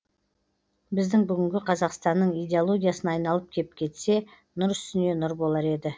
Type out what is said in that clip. біздің бүгінгі қазақстанның идеологиясына айналып кеп кетсе нұр үстіне нұр болар еді